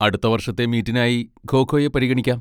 അടുത്ത വർഷത്തെ മീറ്റിനായി ഖോ ഖോയെ പരിഗണിക്കാം.